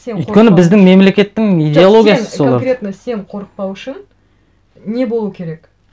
өйткені біздің мемлекеттің идеологиясы конкретно сен қорықпау үшін не болу керек